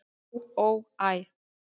"""Á, ó, æ"""